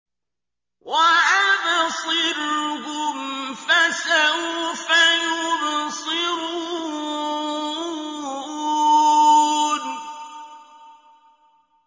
وَأَبْصِرْهُمْ فَسَوْفَ يُبْصِرُونَ